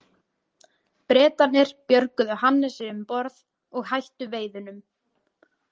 Bretarnir björguðu Hannesi um borð og hættu veiðunum.